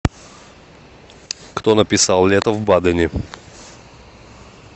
кто написал лето в бадене